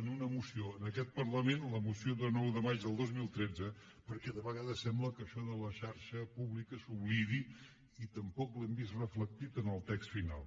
en una moció en aquest parlament la moció de nou de maig del dos mil tretze perquè de vegades sembla que això de la xarxa pública s’oblidi i tampoc ho hem vist reflectit en el text final